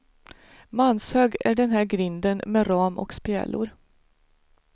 Manshög är den här grinden med ram och spjälor.